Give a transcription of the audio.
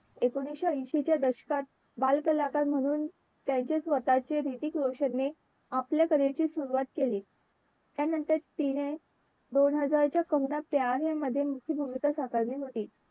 एकोणाविशे ऐंशी च्या दशकात बाल कलाकार म्हणून त्यांचे स्वतःचे हृतिक रोशन ने आपल्या कलेची सुरवात केली त्यानंतर तिने दोन हजारच्या कहोना प्यार हैं मध्ये मुख्य भूमिका साकारली होती.